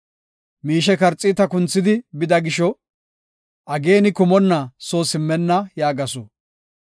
Miishe karxiita kunthidi bida gisho, ageena kumonna soo simmenna” yaagasu.